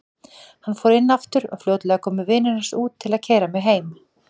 Hann fór inn aftur og fljótlega komu vinir hans út til að keyra mig heim.